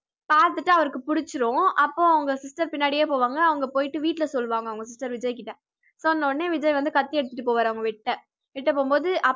பார்த்துட்டு அவருக்கு புடிச்சுரும் அப்போ அவங்க sister பின்னாடியே போவாங்க அவங்க போயிட்டு வீட்டில சொல்லுவாங்க அவங்க sister விஜய்கிட்ட சொன்னவுடனே விஜய் வந்து கத்தி எடுத்திட்டு போவாரு அவங்க வெட்ட வெட்ட போகும்போது